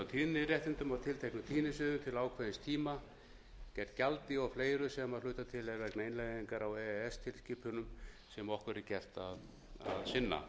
tíðniréttindum á tilteknum tíðnisviðum til ákveðins tíma gegn gjaldi og fleira sem að hluta til er vegna innleiðingar á e e s tilskipunum sem okkur er gert að sinna